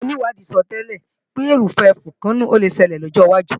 Àwọn onìwádìí sọtẹ́lẹ̀ sọ pé erúpẹ̀ fókénò le ṣelẹ̀ ní ọjọ́ wájú